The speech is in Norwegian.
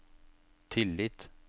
tillit